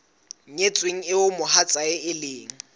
nyetsweng eo mohatsae e leng